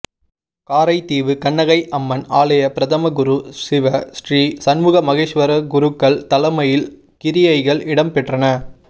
காரைதீவு கண்ணகை அம்மன் ஆலய பிரதம குரு சிவ ஸ்ரீ சண்முக மகேஸ்வரக் குருக்கள் தலைமையில் கிரியைகள் இடம் பெற்றன